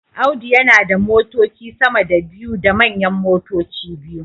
Audu yana da motoci sama da biyu da manyan motoci biyu